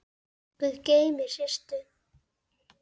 Guð geymi Systu.